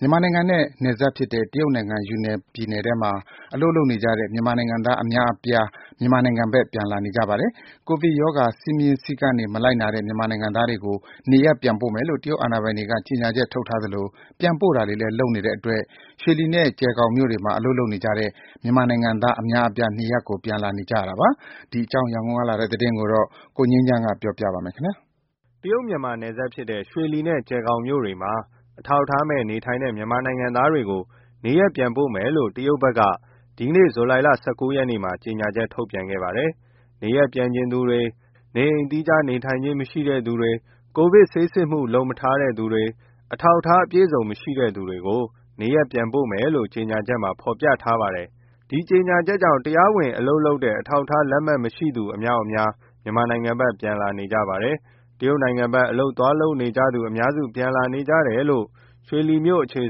မြန်မာနိုင်ငံနဲ့နယ်စပ်ဖြစ်တဲ့ တရုတ်နိုင်ငံ ယူနန်ပြည်နယ်ထဲမှာ အလုပ်လုပ်နေကြတဲ့ မြန်မာနိုင်ငံသားအများအပြား မြန်မာနိုင်ငံဘက် ပြန်လာနေကြပါတယ်။ ကိုဗစ်ရောဂါ စည်းမျဉ်းစည်းကမ်းတွေ မလိုက်နာတဲ့ မြန်မာနိုင်ငံသားတွေကို နေရပ်ပြန်ပို့မယ်လို့ တရုတ်အာဏာပိုင်တွေက ကြေညာချက်ထုတ်ထားသလို ပြန်ပို့တာတွေလည်း လုပ်နေတဲ့အတွက်၊ ရွှေလီနဲ့ ကျယ်ဂေါင်မြို့တွေမှာ အလုပ်လုပ်နေကြတဲ့ မြန်မာနိုင်ငံသား အများအပြား နေရပ်ကိုပြန်နေကြတာပါ။ ဒီအကြောင်း ရန်ကုန်ကလာတဲ့သတင်းကို ကိုငြိမ်းချမ်းပြောပြပါမယ်။ မြန်မာနိုင်ငံနဲ့နယ်စပ်ဖြစ်တဲ့ တရုတ်နိုင်ငံက ရွှေလီနဲ့ ကျယ်ဂေါင်မြို့တွေမှာ အထောက်အထားမဲ့နေထိုင်တဲ့ မြန်မာနိုင်ငံသားတွေကို နေရပ်ပြန်ပို့မယ်လို့ တရုတ်ဘက် က ဒီနေ့ ဇူလိုင် ၁၉မှာ ကြေညာချက်ထုတ်ပြန်ခဲ့ပါတယ်။ နေရပ်ပြန်ချင်သူတွေ၊ နေအိမ်သီးခြား နေထိုင်ခြင်းမရှိတဲ့သူတွေ၊ ကိုဗစ်ဆေးစစ်မှု လုပ်မထားသူတွေ၊ အထောက်အထား အပြည့်အစုံ မရှိတဲ့သူတွေကို နေရပ်ပြန်ပို့မယ်လို့ ကြေညာချက်မှာ ဖော်ပြထားပါတယ်။ ဒီကြေညာချက်ကြောင့် တရားဝင်အလုပ်လုပ်တဲ့ အထောက်အထားလက်မှတ် မရှိသူ အများအပြား မြန်မာနိုင်ငံဘက် ပြန်လာနေကြပါတယ်။ တရုတ်နိုင်ငံဘက် အလုပ်သွားလုပ်နေကြသူ အများစု ပြန်လာနေကြတယ်လို့ ရွှေလီမြို့အခြေ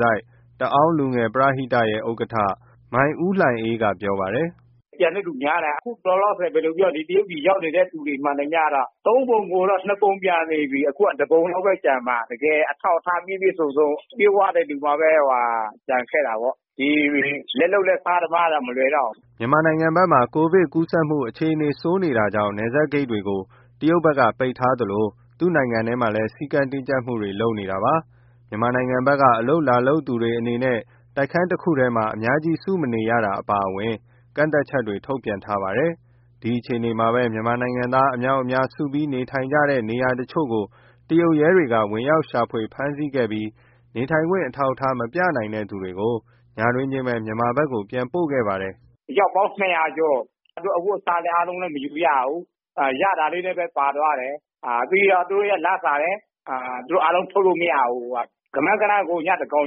စိုက် တအောင်းလူငယ်ပရဟိတရဲ့ ဥက္ကဋ္ဌ မိုင်ဦးလှိုင်အေးက ပြောပါတယ်။ “ပြန်တဲ့သူများတယ်။ အခုလောလောဆယ် တရုတ်ပြည် ရောက်နေတဲ့သူ မှန်သမျှ ကတော့ သုံးပုံပုံရင် နှစ်ပုံပြန်နေပြီ။ အခုက တပုံလောက်ပဲကျန်မှာ။ တကယ်အထောက်အထား ပြည့်ပြည့်စုံစုံ၊ ပြည့်ဝတဲ့သူမှပဲ ကျန်ခဲ့တာပေါ့။ လက်လုပ်လက်စား သမားကတော့ မလွယ်တော့ဘူး။” မြန်မာနိုင်ငံဘက်မှာ ကိုဗစ်ကူးစက်ဖြစ်ပွားမှု အခြေအနေဆိုးနေတာကြောင်း နယ်စပ်ဂိတ်တွေကို တရုတ်ဘက်က ပိတ်ထားသလို သူ့နိုင်ငံထဲမှာလည်း စည်းကမ်းတင်းကြပ်မှုတွေကို လုပ်နေတာပါ။ မြန်မာနိုင်ငံဘက်က အလုပ်လာလုပ်သူတွေအနေနဲ့ တိုက်ခန်းတခုထဲမှာ အများကြီး စုမနေရတာ အပါအဝင် ကန့်သတ်ချက်တွေ ထုတ်ထားပါတယ်။ ဒီအခြေအနေမှာပဲ မြန်မာနိုင်ငံသား အများအပြား စုပြီးနေထိုင်ကြတဲ့ နေရာတချို့ကို တရုတ်ရဲတွေက ဝင်ရောက်ရှာဖွေ၊ ဖမ်းဆီးခဲ့ပြီး နေထိုင်ခွင့် အထောက်အထား မပြနိုင်တဲ့သူတွေကိုညတွင်းချင်းပဲ မြန်မာဘက်ကို ပြန်ပို့ခဲ့ပါတယ်။ “အယောက်ပေါင်း ၂၀၀ ကျော်၊ သူတို့အဝတ်အစား အားလုံးလည်း မယူရဘူး။ ရတာလေးနဲ့ ပါသွားတယ်။ ပြီးတော့ သူတို့ရဲ့လစာလည်း သူတို့အားလုံး ထုတ်လို့မရဘူး၊ ကမန်းကတမ်း ညသန်းခေါင်ကျော်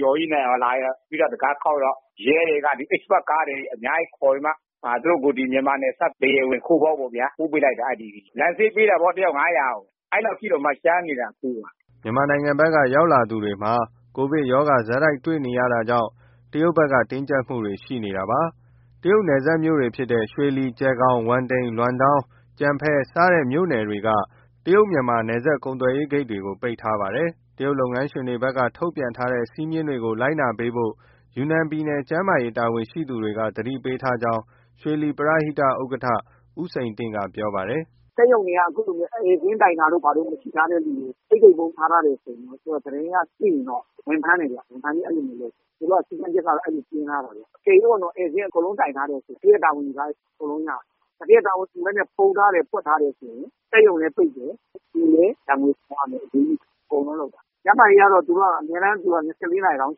ကြီး လာပြီးတံခါးခေါက်တာ ရဲတွေက express ကားတွေ အများကြီးခေါ်ပြီးမှ သူတို့ကို မြန်မာနယ်စပ် ခိုးဝင်ပေါက်ပေါ့ဗျာ အဲဒီကိုပို့ပေးလိုက်တာ။ လမ်းစရိတ်ပေးတာပေါ့ တယောက်ကို ၅၀၀ ၊ အဲလောက်အထိတောင်မှ ကြမ်းနေတာ အခုက။” မြန်မာနိုင်ငံဘက်က ရောက်လာသူတွေမှာ ကိုဗစ်ရောဂါ ဆက်တိုက်တွေ့နေရတာကြောင့် တရုတ်ဘက်က တင်းကျပ်မှုတွေရှိနေတာပါ။ တရုတ်နယ်စပ်မြို့တွေဖြစ်တဲ့ ရွှေလီ၊ ကျယ်ဂေါင်၊ ဝမ်တိန်၊ လွမ်ဒေါင်း၊ ကျဲ့ဖန် ဒီမြို့နယ်တွေက တရုတ် မြန်မာ ကုန်သွယ်ရေး နယ်စပ်ဂိတ်တွေကို ပိတ်ထားပါတယ်။တရုတ်လုပ်ငန်းရှင်တွေကလည်း ထုတ်ပြန်ထားတဲ့ စည်းမျဉ်းတွေကို လိုက်နာပေးဖို့ ယူနန်ပြည်နယ် ကျန်းမာရေးဌာန တာဝန်ရှိသူတွေက သတိပေးထားကြောင်း ရွှေလီပရဟိတဥက္ကဋ္ဌ ဦးစိန်တင့်က ပြောပါတယ်။ “စက်ရုံတွေက အခုလို ဧည့်စာရင်းတိုင်တာမျိုး မရှိထားတဲ့သူတွေကို တိတ်တိတ်ပုန်း ထားထားတယ်ဆိုရင် သူတို့က သတင်းရပြီးသိရင် ဝင်ဖမ်းပြီး အဲလိုမျိုးလုပ်တယ်။ သူတို့က စည်းကမ်ချက်က အဲလိုမျိုးတင်းထားတာ။ အကယ်၍ ဧည့်စာရင်းကို အကုန်လုံးတိုင်ထားတယ် သူဌေးက တာဝန်ယူထားရင် အကုန်ရတယ်။ တာဝန်မယူဘဲ ဖုံးထားတယ်၊ ဖွက်ထားတယ်ဆို စက်ရုံလည်းပိတ်တယ်၊ လူလည်း ဒဏ်ငွေဆောင်ရမယ် အရေးယူခံရမယ် အကုန်လုံးလုပ်တာ။ကျန်းမာရေးကတော့ သူတို့က အမြဲတမ်း ၂၄ နာရီ round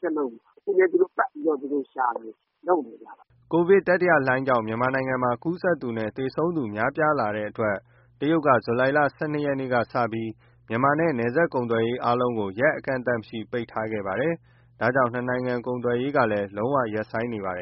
check လုပ်တာ၊ အခုလည်း သူတို့ပတ်ပြီးတော့ ရှာနေတယ်၊ လုပ်နေတယ်ဗျ။” ကိုဗစ်တတိယလှိုင်းကြောင့် မြန်မာနိုင်ငံမှာ ကူးစက်သူနဲ့ သေဆုံးသူများလာတဲ့အတွက် တရုတ်က ဇူလိုင်လ ၁၂ ရက်ကစပြီး မြန်မာနဲ့ နယ်စပ်ကုန်သွယ်ရေး အားလုံးကိုလည်း ရက်အကန့်အသတ်မရှိ ပိတ်ထားခဲ့ပါတယ်။ ဒါကြောင့် နှစ်နိုင်ငံ ကုန်သွယ်ရေးကလည်း လုံးဝရပ်ဆိုင်းနေပါတယ်